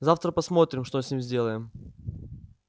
завтра посмотрим что с ним сделаем